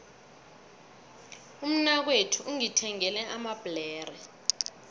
umnakwethu ungithengele amabhlere